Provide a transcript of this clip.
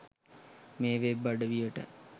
මේ වෙබ් අඩවියට.